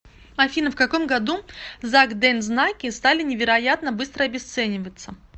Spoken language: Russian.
афина в каком году закдензнаки стали невероятно быстро обесцениваться